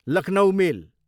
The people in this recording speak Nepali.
लखनउ मेल